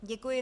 Děkuji.